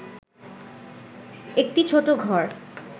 একটি ছোট ঘর